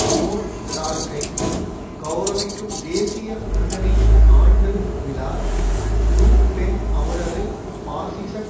zone டார்க்கை கெளரவிக்கும் தேசிய முன்னணியின் ஆண்டு விழா லு பென் அவரது பாசிசக்